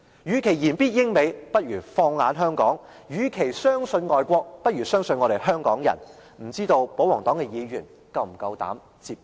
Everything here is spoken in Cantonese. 與其言必英、美，不如放眼香港；與其相信外國，不如相信我們香港人，不知道保皇黨的議員是否夠膽接招？